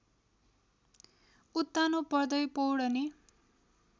उत्तानो पर्दै पौड्ने